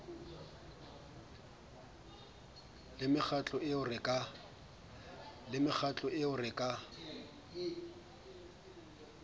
le mekgatlo eo re ka